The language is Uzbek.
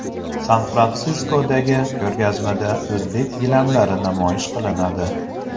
San-Fransiskodagi ko‘rgazmada o‘zbek gilamlari namoyish qilinadi.